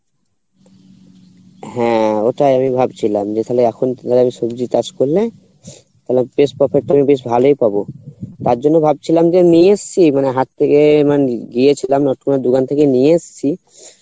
হ্যাঁ ওটা আমি ভাবছিলাম যে তালে এখন ধর সবজি চাষ করলে তালে বেশ ভালোই পাবো তার জন্য ভাবছিলাম যে নিয়ে এসছি মানে হাট থেকে আমার গিয়েছিলাম মানে তোমার দোকান থেকে নিয়ে এসছি